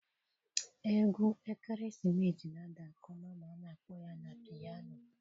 Egwu ekeresimesi na-ada nke ọma ma a na-akpọ ya na piano.